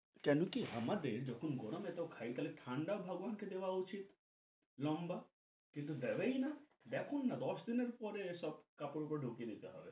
কেন কি আমাদের যখন গরম এত থাকে তাহলে ঠান্ডা দেওয়া উচিত লম্বা কিন্তু দেবেই না দেখুন না দশ দিনের পরে সব কাপড় ধুঁকিয়ে নিতে হয়।